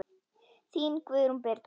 Þín, Guðrún Birna.